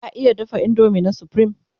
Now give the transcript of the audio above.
ka iya dafa indomie na supreme?